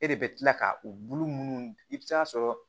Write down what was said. E de bɛ kila ka u bulu munnu i bɛ taa sɔrɔ